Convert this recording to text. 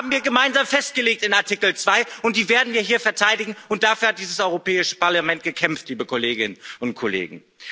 Die haben wir gemeinsam in Artikel 2 festgelegt, und die werden wir hier verteidigen, und dafür hat dieses Europäische Parlament gekämpft, liebe Kolleginnen und Kollegen.